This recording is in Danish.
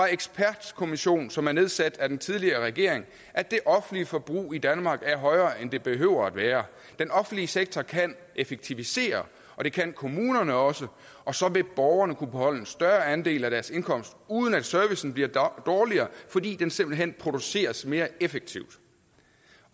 ekspertkommission som er nedsat af den tidligere regering at det offentlige forbrug i danmark er højere end det behøver at være den offentlige sektor kan effektivisere og det kan kommunerne også og så vil borgerne kunne beholde en større andel af deres indkomst uden at servicen bliver dårligere fordi den simpelt hen produceres mere effektivt